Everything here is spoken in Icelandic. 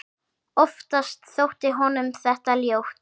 Oftast þótti honum þetta ljótt.